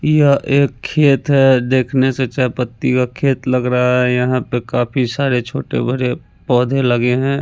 यह एक खेत है देखने से चाय पत्ती का खेत लग रहा है यहाँ पे काफी सारे छोटे-बड़े पोधे लगे हैं।